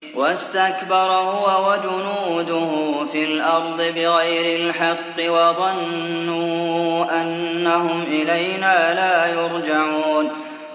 وَاسْتَكْبَرَ هُوَ وَجُنُودُهُ فِي الْأَرْضِ بِغَيْرِ الْحَقِّ وَظَنُّوا أَنَّهُمْ إِلَيْنَا لَا يُرْجَعُونَ